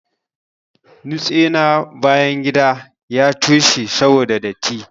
Nutse na bayan gida ya toshe saboda datti.